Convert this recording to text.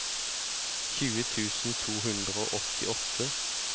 tjue tusen to hundre og åttiåtte